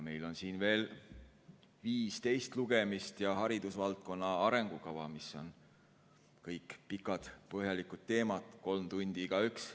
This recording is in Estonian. Meil on siin veel viis teist lugemist ja haridusvaldkonna arengukava, mis on kõik pikad-põhjalikud teemad, kolm tundi igaüks.